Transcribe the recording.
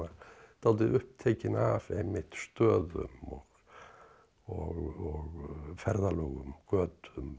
dálítið upptekinn af einmitt stöðum og ferðalögum götum